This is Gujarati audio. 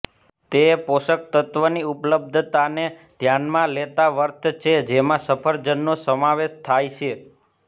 તે પોષક તત્ત્વોની ઉપલબ્ધતાને ધ્યાનમાં લેતા વર્થ છે જેમાં સફરજનનો સમાવેશ થાય છે